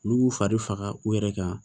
Olu b'u fari faga u yɛrɛ kan